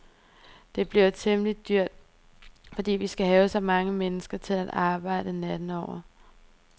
Det bliver temmeligt dyrt, fordi vi skal have så mange mennesker til at arbejde natten over.